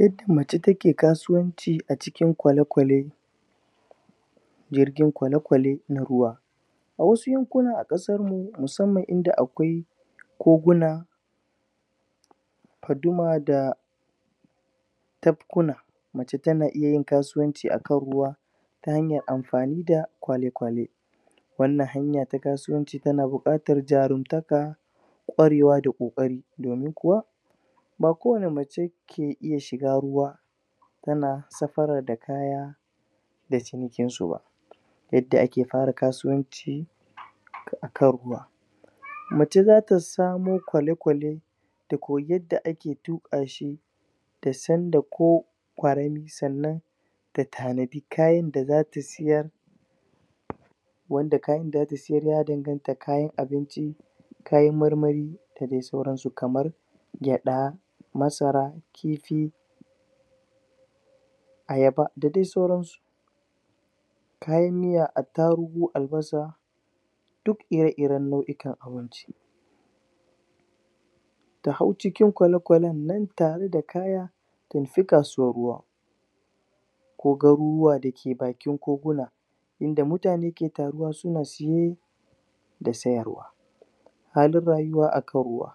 Yadda mace take kasuwanci a cikin kwalekwale Jirgin kwalekwale na ruwa A wasu yankuna a kasar mu musamman inda akwai Koguna Puduma da, Tapkuna Mace tana iya kasuwanci a kan ruwa Ta hanyar amfani da kwalekwalo Wannan hanya ta kasuwanci kana buƙatar jarumtaka ƙwarewa da ƙokari, domin kuwa Ba kowane mace Ke iya shiga ruwa Tana safarar da kaya Da cinikin suba Yadda ake fara kasuwanci akan ruwa Mace zata samo ƙwale ƙwale Ta koyi yadda ake tuƙa shi Tasan da ko Sannan Ta tanadi kayan da zata sayar Wanda kayan da zata sayar za'a danganta kayan abinci Kayan marmari Dadai sauran su kamar gyaɗa Masara Kifi Ayaba da dai sauran su Kayan miya attarugu, albasa Duk ire iren nau'ikan abinci Ta hau cikin ƙwale ƙwalen nan da kaya Ta isa kasuwar ruwa Ko garuruwa dake bakin koguna Inda mutane suke taruwa suna saye Da sayarwa akan ruwa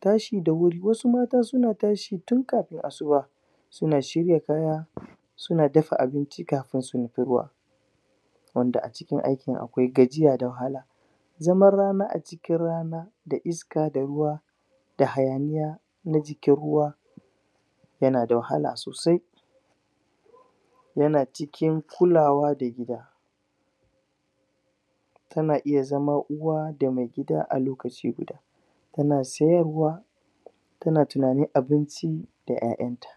Tashi da wuri, wasu mata suna tashi tun kafin asuba Suna shirya kaya Suna dafa abinci kafin su nufi ruwa Wanda a cikin aikin akwai gajiya da wahala Zaman rana a cikin rana Da iska da ruwa Da hayaniya Na jikin ruwa Yana da wahala sosai Yana cikin, Kulawa da gida Tana iya zama uwa da mai gida a lokaci guda Kuna sayarwa Tana tunanin abinci Da ƴaƴanta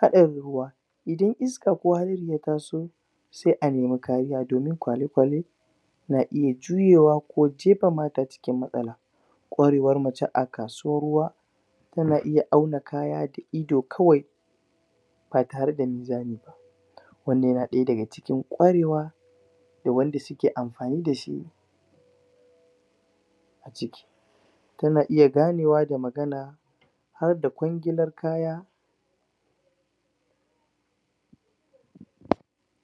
Haɗarin ruwa Idan iska ko hadari ya taso Sai a nemi kariya domin ƙwale ƙwale Na iya juyuwa Ko jepama a cikin matsala ƙwarewar mace a kasuwar ruwa Tana iya auna kaya da ido kawai Ba tare da munzami ba Wannan yana daya daga cikin ƙwarewa Ga wanda suke amfani dashi A ciki Tana iya ganewa da magana Harda kwangilar kaya